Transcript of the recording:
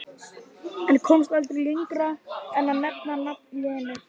En komst aldrei lengra en að nefna nafn Lenu